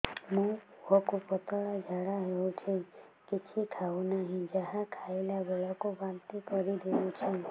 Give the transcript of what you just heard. ମୋ ପୁଅ କୁ ପତଳା ଝାଡ଼ା ହେଉଛି କିଛି ଖାଉ ନାହିଁ ଯାହା ଖାଇଲାବେଳକୁ ବାନ୍ତି କରି ଦେଉଛି